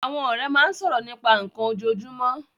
Àwọn ọ̀rẹ́ máa ń sọ̀rọ̀ nípa nnkan ojoojúmọ́